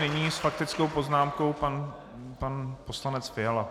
Nyní s faktickou poznámkou pan poslanec Fiala.